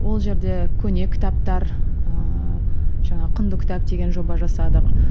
ол жерде көне кітаптар ыыы жаңағы құнды кітап деген жоба жасадық